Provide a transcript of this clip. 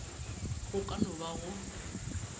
go ka no ba go